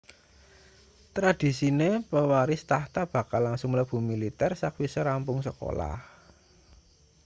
tradisine pewaris tahta bakal langsung mlebu militer sakwise rampung sekolah